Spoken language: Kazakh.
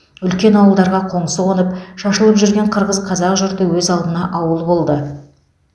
үлкен ауылдарға қоңсы қонып шашылып жүрген қырғыз қазақ жұрты өз алдына ауыл болды